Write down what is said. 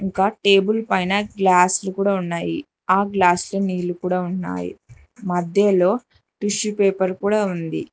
ఒక టేబుల్ పైన గ్లాస్లులు కూడా ఉన్నాయి ఆ గ్లాస్లొ నీళ్లు కూడా ఉన్నాయి మధ్యలో టిష్యూ పేపర్ కూడా ఉంది.